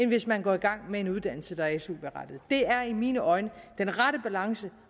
hvis man går i gang med en uddannelse der er su berettiget det er i mine øjne den rette balance